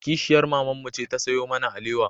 Kishiyar mamanmu ce ta sayo mana alewa